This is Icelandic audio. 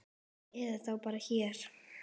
Eða þá bara hér.